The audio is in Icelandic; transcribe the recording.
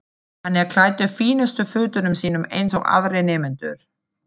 Hann er klæddur fínustu fötunum sínum eins og aðrir nemendur.